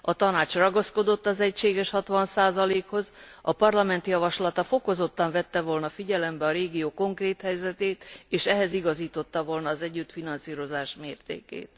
A Tanács ragaszkodott az egységes 60 hoz, a Parlament javaslata fokozottan vette volna figyelembe a régió konkrét helyzetét, és ehhez igazította volna a társfinanszírozás mértékét.